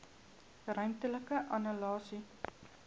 ruimtelike analise